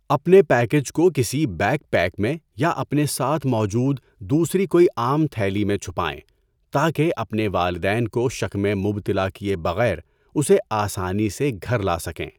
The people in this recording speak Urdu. اپنے پیکج کو کسی بیک پیک میں یا اپنے ساتھ موجود دوسری کوئی عام تھیلی میں چھپائیں تاکہ اپنے والدین کو شک میں مبتلا کیے بغیر اسے آسانی سے گھر لا سکیں۔